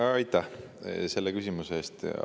Aitäh selle küsimuse eest!